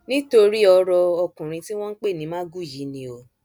nítorí ọrọ ọkùnrin tí wọn ń pè ní magu yìí ni o